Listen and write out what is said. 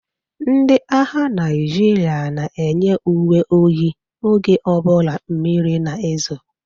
Ndị agha Naijiria na eyi uwe oyi oge ọbụla mmiri na-ezo.